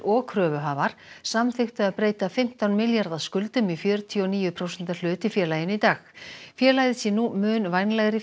og kröfuhafar samþykktu að breyta fimmtán milljarða skuldum í fjörutíu og níu prósenta hlut í félaginu í dag félagið sé nú mun vænlegri